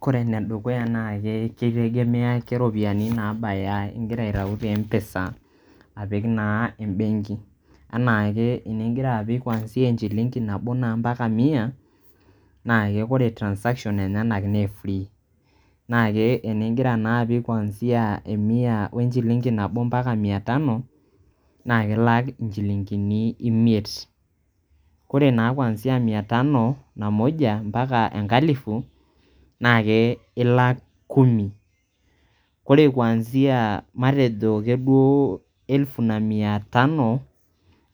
kore ene dukuya naa ke keitegemea keropiyiani nabaya ingira aitayu te mpesa apik naa embenki . anaake ingira apik kwanzia enchilingi nabo mpaka mia na ke ore transactions enyenak naa free na ke eningira naa apik kwanzia emia we enchilingi nabo [csmpaka mia tano [cs[naa ilak inchilingini imiet. ore naa kwanzia mia tano na moja mpaka enalifu na ilak kumi, ore[cs kwanzia matejo ake duoo elfu na mia tano